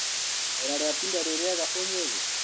Riera rĩatinda rĩriega ũmũthĩ?